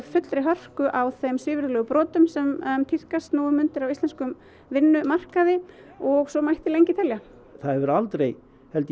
fullri hörku á þeim svívirðilegu brotum sem tíðkast nú um stundir á íslenskum vinnumarkaði og svo mætti lengi telja það hefur aldrei